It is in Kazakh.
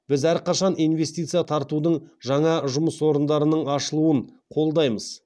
біз әрқашан инвестиция тартудың жаңа жұмыс орындарының ашылуын қолдаймыз